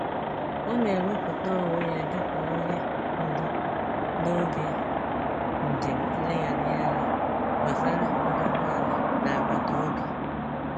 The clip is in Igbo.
Ọ na-ewepụta onwe ya dị ka onye ndu n'oge njem nlegharịanya gbasara aguguala n'agbataobi.